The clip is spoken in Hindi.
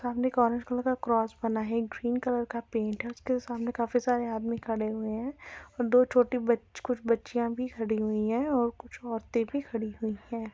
सामने एक ऑरेंज कलर का क्रॉस बना हैं एक ग्रीन कलर का पेन्ट हैं उसके सामने काफी सारे आदमी खड़े हुए हैं और दो छोटी बच्ची कुछ बच्चियाँ भी खड़ी हुई हैं और कुछ औरते भी खड़ी हुई हैं।